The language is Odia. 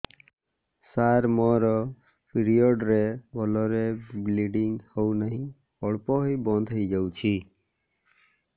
ସାର ମୋର ପିରିଅଡ଼ ରେ ଭଲରେ ବ୍ଲିଡ଼ିଙ୍ଗ ହଉନାହିଁ ଅଳ୍ପ ହୋଇ ବନ୍ଦ ହୋଇଯାଉଛି